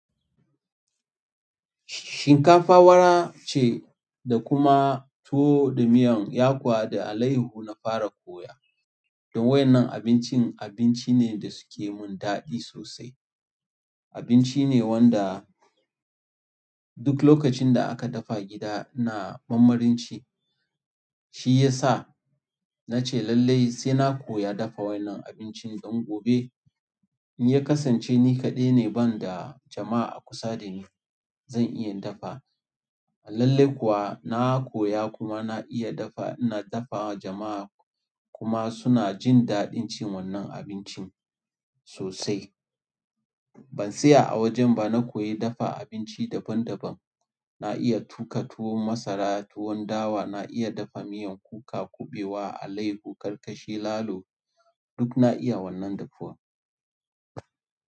Shinkafa wara ce da kuma tuwo da miyan yakuwa da alaiyahu na fara koya. Don wa'yannan abincin, abinci ne wanda suke mun daɗi sosai abinci ne wanda duk lokacin da aka dafa gida ina marmarin ci, shiyasa nace lallai sai na koya dafa wa'yannan abincin don gobe in ya kasance ni kaɗai ne banda jama'a a kusa da ni zan iya dafa. Lallai kuwa na koya kuma na iya dafa, ina dafa wa jama'a kuma suna jin daɗin cin wannan abincin sosai. Ban tsaya a wajen ba, na koyi dafa abinci daban-daban. Na iya tuƙa tuwon masara, tuwon dawa, na iya dafa miyan kuka, kuɓewa, alaiyahu, karkashi, lalo duk na iya wannan dafuwan.